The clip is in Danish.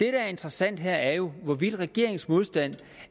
er interessant her er jo hvorvidt regeringens modstand